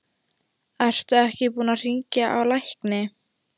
Ertu ekki búinn að hringja á lækni?